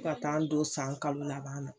Fɔ ka t'a n don san kalo laban la.